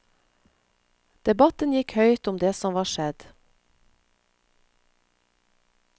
Debatten gikk høyt om det som var skjedd.